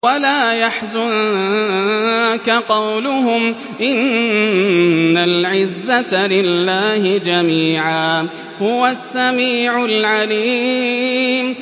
وَلَا يَحْزُنكَ قَوْلُهُمْ ۘ إِنَّ الْعِزَّةَ لِلَّهِ جَمِيعًا ۚ هُوَ السَّمِيعُ الْعَلِيمُ